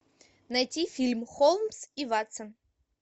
найти фильм холмс и ватсон